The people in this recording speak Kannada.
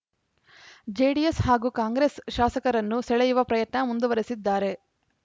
ಜೆಡಿಎಸ್‌ ಹಾಗೂ ಕಾಂಗ್ರೆಸ್‌ ಶಾಸಕರನ್ನು ಸೆಳೆಯುವ ಪ್ರಯತ್ನ ಮುಂದುವರೆಸಿದ್ದಾರೆ